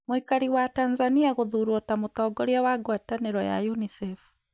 mũikari wa Tanzania gũthurwo ta mũtongoria wa ngwatanĩro ya UNISEF